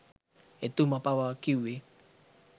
එතුමා පවා කිව්වෙ